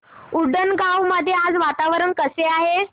उंडणगांव मध्ये आज वातावरण कसे आहे